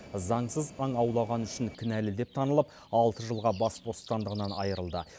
заңсыз аң аулағаны үшін кінәлі деп танылып алты жылға бас бостандығынан айырылды